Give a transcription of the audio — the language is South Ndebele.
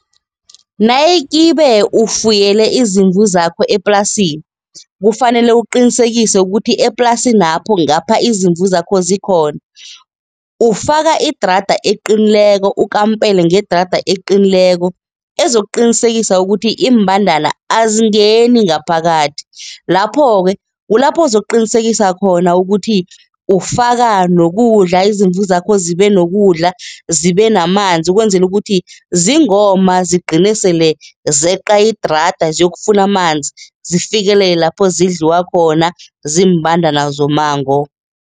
Nayikhibe ukufuyele izimvu zakho eplasini, kufanele uqinisekise ukuthi eplasinapho ngapha izimvu zakho zikhona, ufaka idrada eqinileko, ukampela ngedrada eqinileko ezokuqinisekisa ukuthi iimbandana azingeni ngaphakathi. Lapho-ke kulapho uzokuqinisekisa khona ukuthi ufaka nokudla, izimvu zakho zibe nokudla, zibe namanzi ukwenzela ukuthi zingoma zigcine sele zeqa idrada, ziyokufuna amanzi, zifikile lapho zidliwa khona ziimbandana zommango.